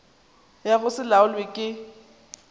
ya go se laolwe ke